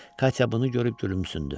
Katya bunu görüb gülümsündü.